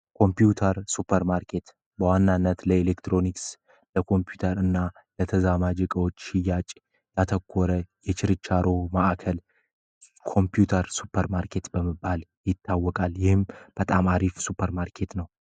ኮምፕውተር ሱፐር ማርኬት በዋናነት ለኤሌክትሮኒክስ ፣ለኮምፕውተር እና ለተዛማጅ እቃዎች ሽያጭ ላይ ያተኮረ የችርቻሮ ማዕከል የኮምፕውተር ሱፐርማርኬት በመባል ይታወቃል ።ይህም በጣም አሪፍ ሱፐር ማርኬት ነው።